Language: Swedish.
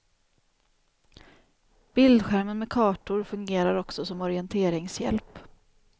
Bildskärmen med kartor fungerar också som orienteringshjälp.